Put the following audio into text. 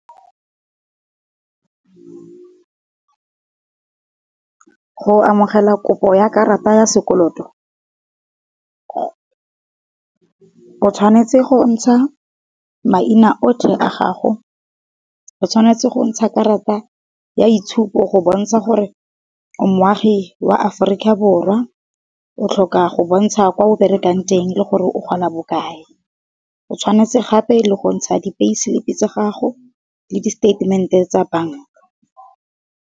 Go amogela kopo ya karata ya sekoloto, o tshwanetse go ntsha maina otlhe a gago, o tshwanetse go ntsha karata ya itshupo go bontsha gore moagi wa Aforika Borwa, o tlhoka go bontsha kwa o berekang teng le gore o gola bokae, o tshwanetse gape le go ntsha di-pay selipi tsa gago le statement-e tsa banka.